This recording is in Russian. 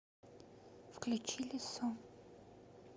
включи лису